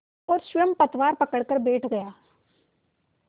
और स्वयं पतवार पकड़कर बैठ गया